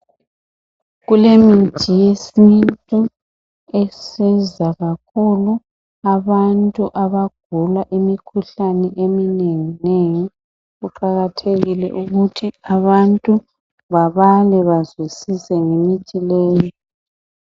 Kulemithi yesintu esiza kakhulu abantu abagula imikhuhlani eminenginengi. Kuqakathekile ukuthi abantu babale bazwisise ngemithi leyi.